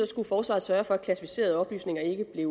skulle forsvaret sørge for at klassificerede oplysninger ikke blev